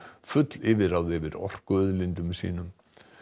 full yfirráð yfir orkuauðlindum sínum